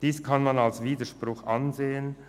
Dies kann man als Widerspruch sehen.